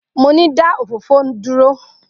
Mo ni, da òfófó duro!